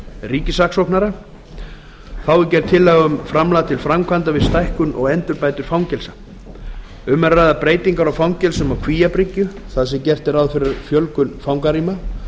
ríkissaksóknara þá er gerð tillaga um framlag til framkvæmda við stækkun og endurbætur fangelsa um er að ræða breytingar á fangelsum á kvíabryggju þar sem gert er ráð fyrir fjölgun fangarýma